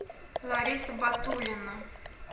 лариса батулина